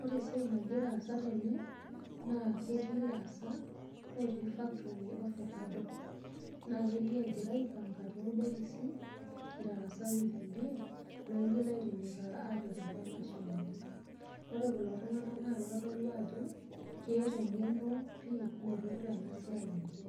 Ore esiai nagira aasa tene, naa ketii lasak otii factory ofakado. Na kelio egira aipanka torbokisi, itarasaki irkulie, loigil aitinyikaa apik atua mashinini. Ore kulo tung'anak na kitodolu ajo, keeta eng'eno pi naipirta enasiai enye.